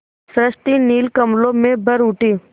सृष्टि नील कमलों में भर उठी